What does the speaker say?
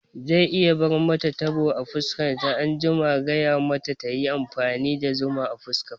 Zai iya bar mata tabo a fuska anjima, gaya mata tayi amfani da zuma a fuska fa